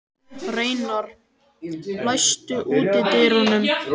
Reynar, læstu útidyrunum.